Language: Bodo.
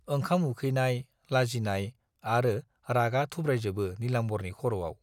ओंखाम उखैनाय, लाजिनाय आरो रागा थुब्रायजोबो नीलाम्बरनि खर'आव।